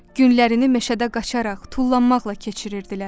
Günlərini meşədə qaçaraq, tullanmaqla keçirirdilər.